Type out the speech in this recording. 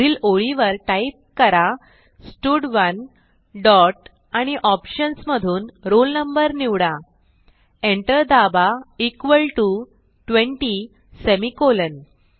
पुढील ओळीवर टाईप करा स्टड1 डॉट आणि ऑप्शन्स मधून roll no निवडा एंटर दाबा इक्वॉल टीओ 20 सेमिकोलॉन